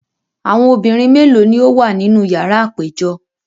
Awọn obinrin melo ni o wa ninu yara apejọ?